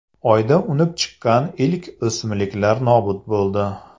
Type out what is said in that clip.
Oyda unib chiqqan ilk o‘simliklar nobud bo‘ldi.